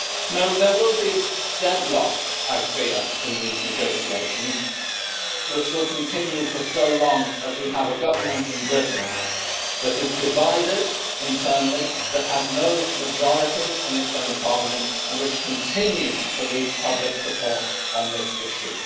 No, there will be deadlock, I fear, in these negotiations, which will continue for so long as we have a government in Britain that is divided internally, that has no majority in its own parliament and which continues to lose public support on this issue.